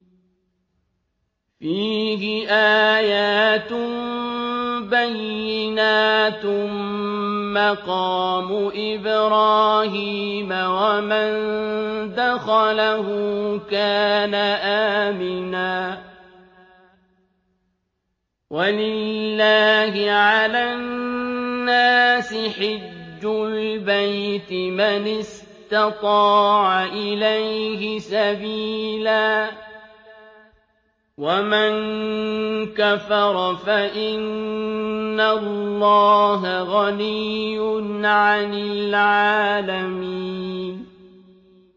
فِيهِ آيَاتٌ بَيِّنَاتٌ مَّقَامُ إِبْرَاهِيمَ ۖ وَمَن دَخَلَهُ كَانَ آمِنًا ۗ وَلِلَّهِ عَلَى النَّاسِ حِجُّ الْبَيْتِ مَنِ اسْتَطَاعَ إِلَيْهِ سَبِيلًا ۚ وَمَن كَفَرَ فَإِنَّ اللَّهَ غَنِيٌّ عَنِ الْعَالَمِينَ